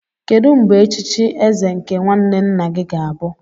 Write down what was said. Kedu mgbe echichi eze nke nwanne nna gị ga-abụ?